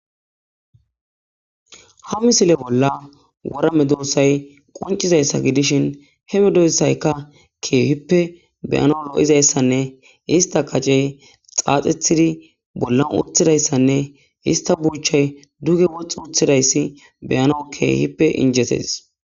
ha misile bolla worame doossay qoncizayssa gidishin he medoyssayka keehippe beyano lo7izayssanne ista kacey xaaxethidi bollan uthidayssanne ista buuchay duge woxxi uthidayssi beyano keehippe injetes